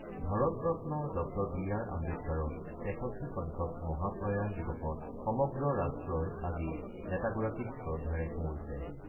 ভাৰতৰত্ন ড B R আম্বেদকাৰৰ ৬৩ সংখ্যক মহাপ্ৰয়ান দিৱসত সমগ্ৰ ৰাষ্ট্ৰই আজি নেতাগৰাকীক শ্ৰদ্ধাৰে সুঁৱৰিছে।